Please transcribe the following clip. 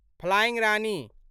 flying Rani